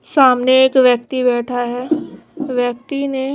सामने एक व्यक्ती बैठा है व्यक्ति ने--